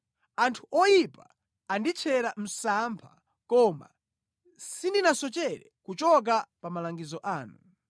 Anthu oyipa anditchera msampha, koma sindinasochere kuchoka pa malangizo anu.